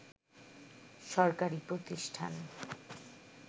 সরকারি প্রতিষ্ঠান